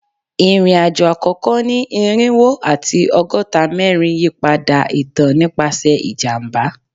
Irin-ajo akoko ni irinwo ati ọgọta mẹrin yipada itan nipasẹ ijamba